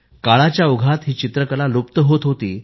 काळाच्या ओघात ही चित्रकला लुप्त होत होती